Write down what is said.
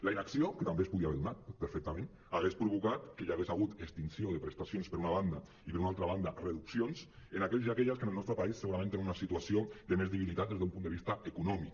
la inacció que també es podia haver donat perfectament hauria provocat que hi hagués hagut extinció de prestacions per una banda i per una altra banda reduc·cions en aquells i aquelles que en el nostre país segurament tenen una situació de més debilitat des d’un punt de vista econòmic